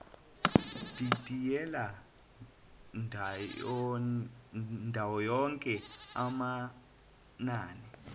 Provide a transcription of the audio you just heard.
didiyela ndawonye amanani